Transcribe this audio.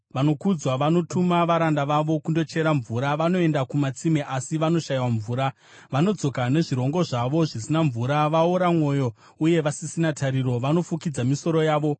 Vanokudzwa vanotuma varanda vavo kundochera mvura; vanoenda kumatsime, asi vanoshayiwa mvura. Vanodzoka nezvirongo zvavo zvisina mvura; vaora mwoyo uye vasisina tariro, vanofukidza misoro yavo.